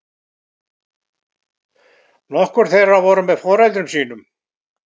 Nokkur þeirra voru með foreldrum sínum